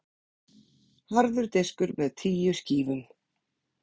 Harður diskur með tíu skífum.